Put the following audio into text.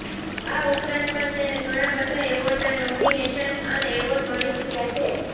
આ ઉપરાંત પણ તેને ઘણા બધા એવોર્ડના નોમિનેશન્સ અને એવોર્ડ મળી ચૂક્યા છે